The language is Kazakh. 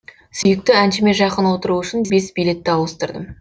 сүйікті әншіме жақын отыру үшін бес билетті ауыстырдым